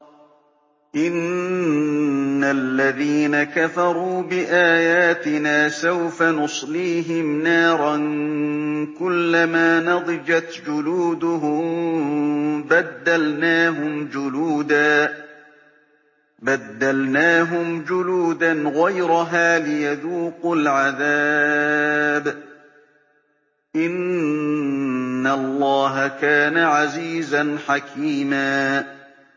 إِنَّ الَّذِينَ كَفَرُوا بِآيَاتِنَا سَوْفَ نُصْلِيهِمْ نَارًا كُلَّمَا نَضِجَتْ جُلُودُهُم بَدَّلْنَاهُمْ جُلُودًا غَيْرَهَا لِيَذُوقُوا الْعَذَابَ ۗ إِنَّ اللَّهَ كَانَ عَزِيزًا حَكِيمًا